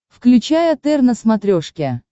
включай отр на смотрешке